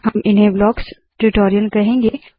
हम इन्हें blocks tutorial कहेंगे